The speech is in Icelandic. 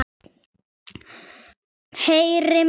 Heyra má